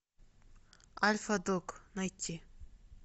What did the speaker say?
альфа дог найти